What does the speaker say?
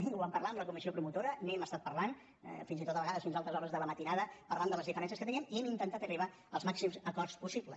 ho vam parlar amb la comissió promotora n’hem estat parlant fins i tot a vegades fins a altes hores de la matinada parlant de les diferències que teníem i hem intentat arribar als màxims acords possibles